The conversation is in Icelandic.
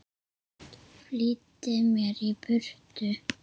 Flýtti mér í burtu.